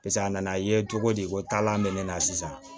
Piseke a nana ye cogo di ko taalan bɛ ne na sisan